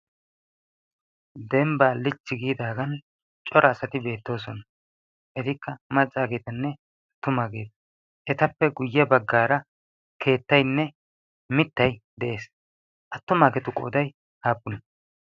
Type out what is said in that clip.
dembbaa lichchi giidaagan cora asati beettoosona etikka maccaageetanne attumaageeta etappe guyye baggaara keettaynne mittai de'ees attumaageetu qooday haappuna